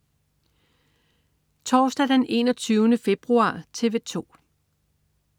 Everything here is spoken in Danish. Torsdag den 21. februar - TV 2: